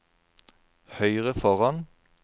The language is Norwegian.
høyre foran